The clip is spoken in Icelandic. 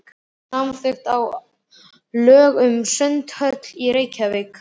Samþykkt á Alþingi lög um sundhöll í Reykjavík.